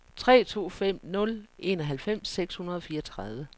tre to fem nul enoghalvfems seks hundrede og fireogtredive